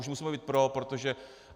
Už musíme být pro, protože...